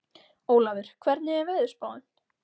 Ólafur, hvernig er veðurspáin?